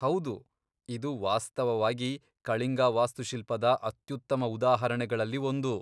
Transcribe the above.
ಹೌದು, ಇದು ವಾಸ್ತವವಾಗಿ, ಕಳಿಂಗ ವಾಸ್ತುಶಿಲ್ಪದ ಅತ್ಯುತ್ತಮ ಉದಾಹರಣೆಗಳಲ್ಲಿ ಒಂದು.